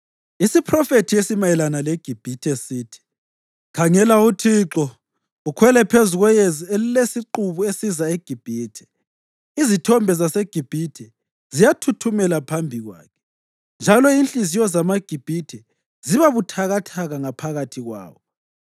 Isiphrofethi esimayelana leGibhithe sithi: Khangela uThixo ukhwele phezu kweyezi elilesiqubu esiza eGibhithe. Izithombe zaseGibhithe ziyathuthumela phambi kwakhe, njalo inhliziyo zamaGibhithe ziba buthakathaka ngaphakathi kwawo.